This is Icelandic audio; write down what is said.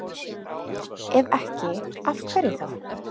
Ef ekki, af hverju þá?